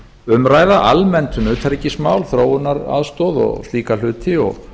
umræða almennt um utanríkismál þróunaraðstoð og slíka hluti og